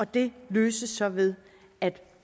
det løses så ved